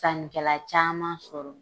Sannikɛla caman sɔrɔ.